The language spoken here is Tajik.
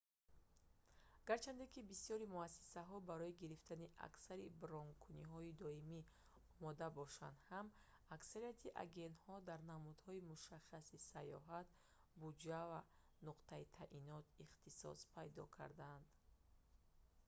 гарчанде ки бисёри муассисаҳо барои гирифтани аксари бронкуниҳои доимӣ омода бошанд ҳам аксарияти агентҳо дар намудҳои мушаххаси саёҳат буҷа ё нуқтаи таъйинот ихтисос пайдо кардаанд